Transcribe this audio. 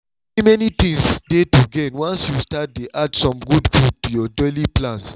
many many things dey to gain once you start dey add some good food to your daily plans